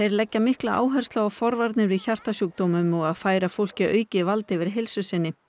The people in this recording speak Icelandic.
leggja mikla áherslu á forvarnir við hjartasjúkdómum og færa fólki aukið vald yfir heilsu sinni